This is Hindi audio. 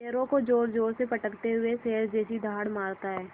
पैरों को ज़ोरज़ोर से पटकते हुए शेर जैसी दहाड़ मारता है